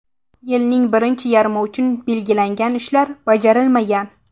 Yilning birinchi yarmi uchun belgilangan ishlar bajarilmagan.